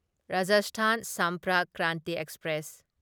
Rajasthan Sampark Kranti express